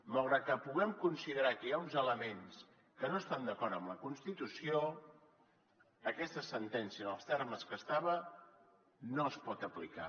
malgrat que puguem considerar que hi ha uns elements que no estan d’acord amb la constitució aquesta sentència en els termes que estava no es pot aplicar